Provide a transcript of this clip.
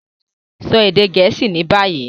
Sọ èdè Gẹẹsi ni bayi!